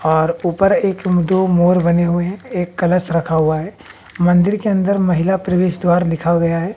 और ऊपर एक इंटु मोर बने हुए हैं एक कलश रखा हुआ है मंदिर के अंदर महिला प्रवेश द्वार लिखा गया है।